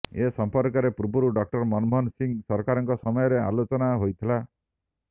ଏ ସଂପର୍କରେ ପୂର୍ବରୁ ଡକ୍ଟର ମନମୋହନ ସିଂହ ସରକାରଙ୍କ ସମୟରେ ଆଲୋଚନା ହୋଇଥିଲା